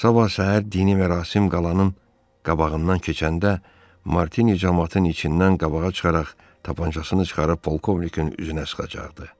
Sabah səhər dini mərasim qalanın qabağından keçəndə Martini camaatın içindən qabağa çıxaraq tapancasını çıxarıb polkovnikin üzünə sıxacaqdı.